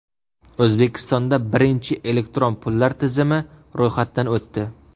O‘zbekistonda birinchi elektron pullar tizimi ro‘yxatdan o‘tdi.